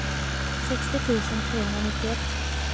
sextio tusen trehundranittioett